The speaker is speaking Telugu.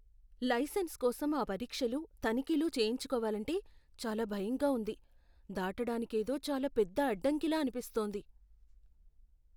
లైసెన్స్ కోసం ఆ పరీక్షలు, తనిఖీలు చేయించుకోవాలంటే చాలా భయంగా ఉంది. దాటడానికేదో చాలా పెద్ద అడ్డంకిలా అనిపిస్తోంది.